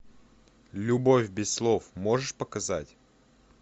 любовь без слов можешь показать